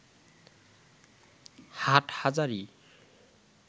Hathazari